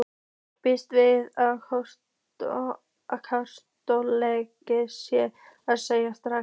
Býst við að ákjósanlegast sé að selja strax.